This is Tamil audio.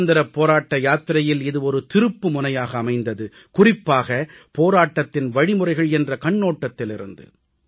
சுதந்திரப் போராட்ட யாத்திரையில் இது ஒரு திருப்புமுனையாக அமைந்தது குறிப்பாக போராட்டத்தின் வழிமுறைகள் என்ற கண்ணோட்டத்திலிருந்து